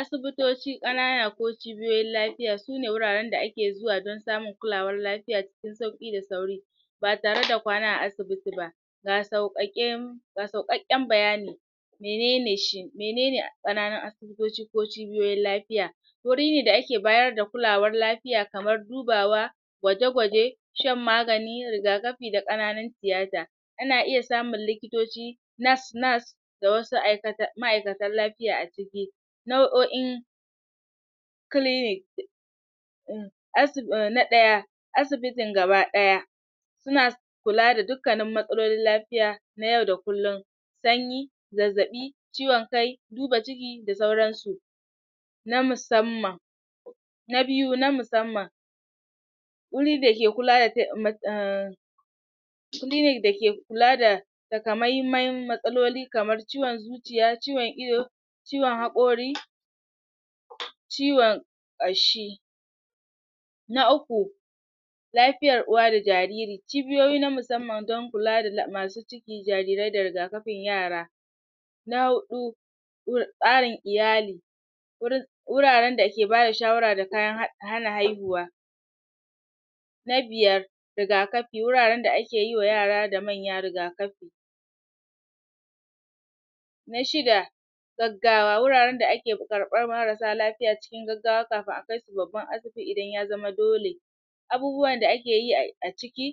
asibitoci ƙanana ko cibiyoyin lafiiya suna wuraren da ake zuwa don samun kulawar lafiya cikin sauƙi da sauri ba tare da kwana a asibiti ba ga sauƙaƙe ga sauƙaƙƙen bayani menene shi menene ƙananun asibitoci ko cibiyoyin lafiya wuri ne da ake bayar da kulawar lafiya kamar dubawa gwaje-gwaje shan magani, rigakafi da ƙananun tiyata ana iya samun likitoci nurse nurse da wasu um ma'aikatan lafiya a ciki nau'o'in clinic um na ɗaya asibitin gaba ɗaya suna kula da dukkanin matsalolin lafiya na yau da kullum sanyi zazzaɓi ciwon kai duba ciki da sauran su na musamman na biyu na musamman wuri dake kula da um clinic dake kula da takamaiman matsaloli kamar ciwon zu ciya, ciwon ido ciwon haƙori ciwon ƙashi na uku lafiyar uwa da jariri cibiyoyi na musamman dan kula da masu ciki, jarirai da rigakafin yara na huɗu tsarin iyali wurin wuraren da ke bada shawara da kayan hana haihuwa na biyar rigakafi wuraren da ake yi wa yara da manya rigakafi na shida gaggawa, wuraren da ake karɓan marasa lafiya cikin gaggawa kafin a kai su babban asibiti idan ya zama dole abubuwa da ake yi a ciki